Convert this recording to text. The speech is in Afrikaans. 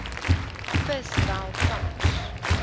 vis wel vars